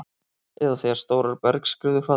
eða þegar stórar bergskriður falla.